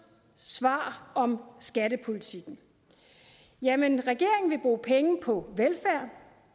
svar om skattepolitikken jamen regeringen vil bruge penge på velfærd